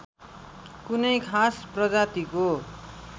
कुनै खास प्रजातिको